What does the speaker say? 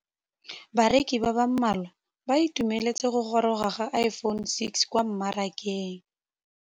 Bareki ba ba malwa ba ituemeletse go gôrôga ga Iphone6 kwa mmarakeng.